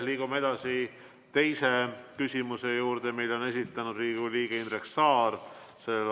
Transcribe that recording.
Liigume edasi teise küsimuse juurde, mille on esitanud Riigikogu liige Indrek Saar.